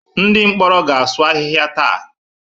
Ndị mkpọrọ ga-asụ ahịhịa taa.